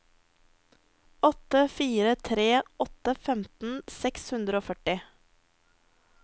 åtte fire tre åtte femten seks hundre og førti